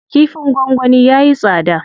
Kifin gwangwani yayi tsada.